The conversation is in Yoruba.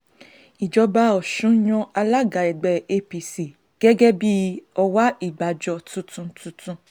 ìjọba ọ̀sùn yan alága ẹgbẹ́ apc gẹ́gẹ́ bíi ọwá ìgbàjọ tuntun tuntun